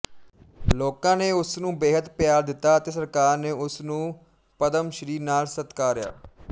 ਲੋਕਾਂ ਨੇ ਉਸ ਨੂੰ ਬੇਹੱਦ ਪਿਆਰ ਦਿੱਤਾ ਅਤੇ ਸਰਕਾਰ ਨੇ ਉਸ ਨੂੰ ਪਦਮਸ੍ਰੀ ਨਾਲ ਸਤਿਕਾਰਿਆ